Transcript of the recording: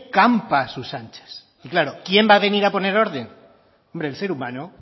campa a sus anchas y claro quién va a venir a poner orden hombre el ser humano